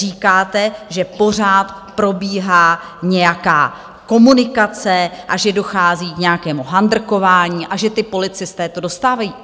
Říkáte, že pořád probíhá nějaká komunikace a že dochází k nějakému handrkování a že ti policisté to dostávají.